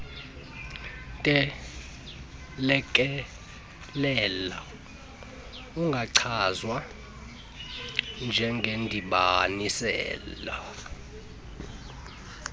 ntelekelelo ungachazwa njengendibanisela